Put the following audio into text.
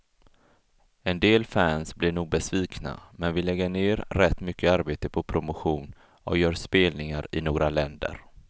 En del fans blir nog besvikna, men vi lägger ner rätt mycket arbete på promotion och gör spelningar i några länder.